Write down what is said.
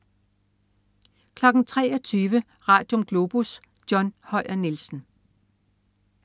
23.00 Radium. Globus. John Høyer Nielsen